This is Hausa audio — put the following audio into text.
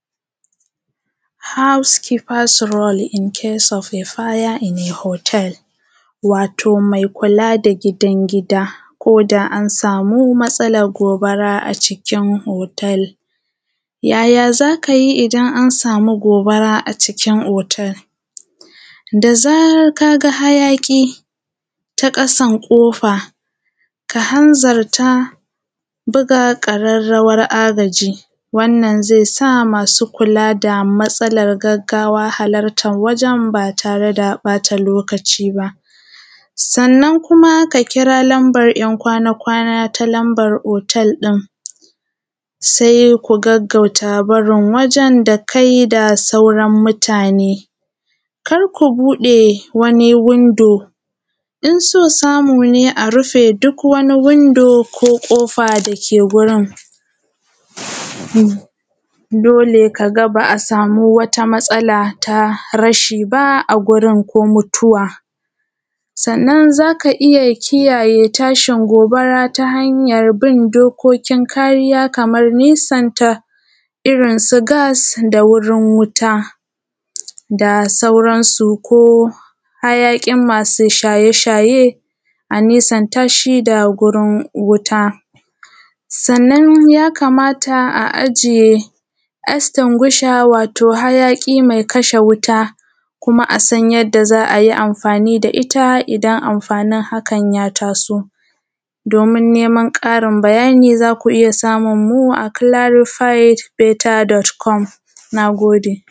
House keeper’s role in case of fire in a hotel, wato mai kula da gidan gida, ko da an samu matsalar gobara a cikin hotel. Yaya za ka yi idan an samu gobara a cikin hotel? Da zarar ka ga hayaƙi ta ƙasan ƙofa, ka hanzarta, buga ƙararrawar agaji, wannan zai sa masu kula da matsalar gaggawa halartan wajen ba tare da ɓata lokaci ba. Sannan kuma ka kira lambar ‘yan kwana-kwana ta lambar hotel ɗin, sai ku gaggauta barin wajen da kai da sauran mutane. Kar ku buɗe wani window, in so samu ne, a rufe duk wani window ko ƙofa da ke wurin, dole ka ga ba a samu wata matsala ta rashi ba ko mutuwa. Sannan za ka iya kare tashin gobara ta hanyar bin dokokin kariya kaman nesanta irin su gas da wurin wuta da sauransu ko hayaƙin masu shaye shaye a nisanta shi da gurin wuta. Sannan ya kamata a ajiye extinguisher, wato hayaƙi mai kashe wuta kuma a san yadda za a yi amfani da ita idan amfanin hakan ya taso, domin neman ƙarin bayani, za ku iya samun mu a clarified better.com Na gode.